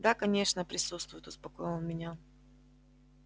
да конечно присутствуют успокоил он меня